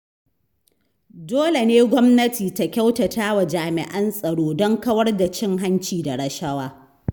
Dole ne gwamnati ta kyautatawa jami'an tsaro don kawar da cin hanci da rashawa.